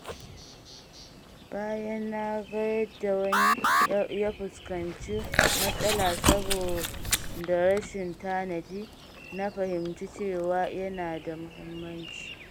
Bayan na ga yadda wani ya fuskanci matsala saboda rashin tanadi, na fahimci cewa yana da mahimmanci.